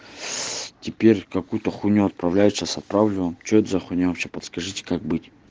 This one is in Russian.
теперь какую-то хуйню отправляешь сейчас отправлю вам что это за хуйня вообще подскажите как быть